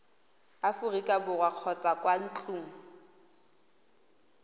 aforika borwa kgotsa kwa ntlong